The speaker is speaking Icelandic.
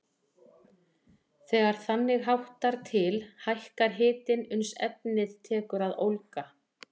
Þegar þannig háttar til hækkar hitinn uns efnið tekur að ólga.